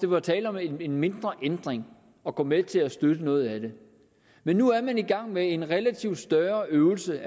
var tale om en mindre ændring at gå med til at støtte noget af det men nu er man i gang med en relativt større øvelse